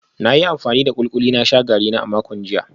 Na yi amfani da kulikuli na sha garina a makon jiya